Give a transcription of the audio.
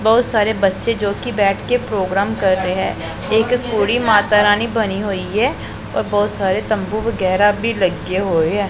ਬਹੁਤ ਸਾਰੇ ਬੱਚੇ ਜੋ ਕੀ ਬੈਠ ਕੇ ਪ੍ਰੋਗਰਾਮ ਕਰ ਰਹੇ ਹੈ ਇੱਕ ਕੁੜੀ ਮਾਤਾ ਰਾਨੀ ਬਣੀ ਹੋਈ ਹੈ ਔਰ ਬਹੁਤ ਸਾਰੇ ਤੰਬੂ ਵਗੈਰਾ ਭੀ ਲੱਗੇ ਹੋਏ ਆ।